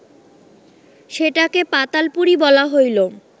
সেটাকে পাতালপুরী বলা হইল